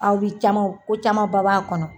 Aw bi caman ko caman ba b'a kɔnɔ.